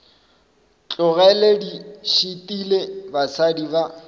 tlogele di šitile basadi ba